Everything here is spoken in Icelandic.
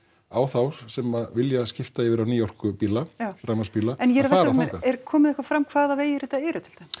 á þá sem vilja skipta yfir í nýorkubíla rafmagnsbíla að fara þangað er komið eitthvað fram hvaða vegir þetta eru